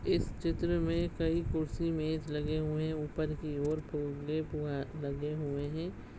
इस चित्र में कई कुर्सी मेज लगे हुए है ऊपर की ओर फुग्गे फुआ लगे हुए है।